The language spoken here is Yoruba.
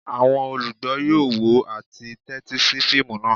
Àwọn olugbo yoo wo ati tẹtisi fiimu naa.